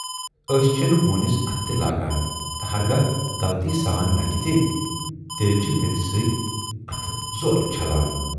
ٲسۍ چھِنہٕ ہوٗنِس اَتھٕ تہِ لاگان تہٕ ہرگاہ غلطی سان لگہِ تہِ، تیلہِ چھِ میژِ سۭتۍ اَتھٕ زورٕ چھلان۔